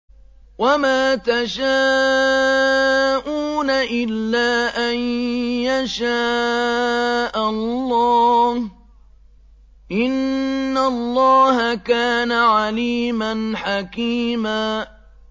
وَمَا تَشَاءُونَ إِلَّا أَن يَشَاءَ اللَّهُ ۚ إِنَّ اللَّهَ كَانَ عَلِيمًا حَكِيمًا